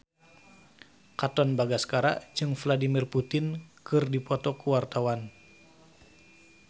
Katon Bagaskara jeung Vladimir Putin keur dipoto ku wartawan